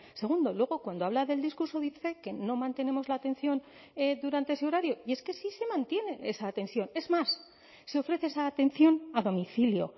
segundo luego cuando habla del discurso dice que no mantenemos la atención durante ese horario y es que sí se mantiene esa atención es más se ofrece esa atención a domicilio